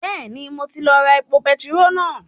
Bẹ́ẹ̀ni mo ti lọ ra epo petiró náà